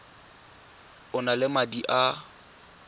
o na le madi a